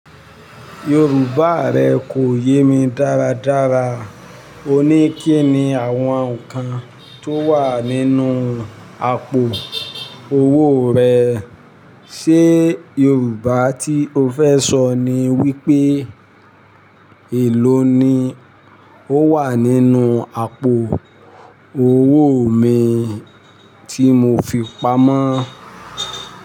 Yorùbá rẹ kò yé mi dáradára. O ní kí ni àwọn nǹkan tó wà nínú àpò owó rẹ. Ṣé Yorùbá tí o fẹ́ sọ ni wípé èló ni ó wà nínú àpò owó mi tí mo fi pamọ́?